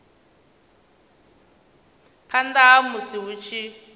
phanḓa ha musi hu tshi